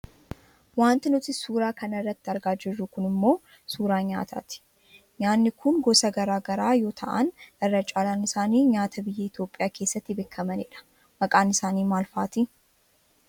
Wanti nuti suuraa kana irratti argaa jirru kun ammoo suuraa nyaataati. Nyaanni kun nyaata gosa gara garaa yoo ta'an, irra caalaan isaanii nyaata biyya Itoopiyaa keessatti beekkamanidha. Maqaa isaanii maal faati?